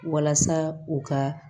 Walasa u ka